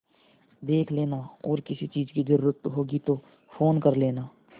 देख लेना और किसी चीज की जरूरत होगी तो फ़ोन कर लेना